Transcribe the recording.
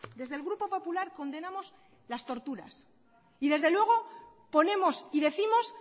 desde el grupo popular condenamos las torturas y desde luego ponemos y décimos